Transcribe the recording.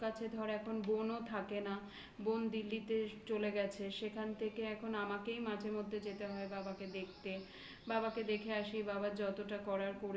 কাছে ধরো এখন বোনও থাকে না। দিল্লিতে চলে গেছে. সেখান থেকে এখন আমাকেই মাঝেমধ্যে যেতে হয়. বাবাকে দেখতে. বাবাকে দেখে আসি. বাবা যতটা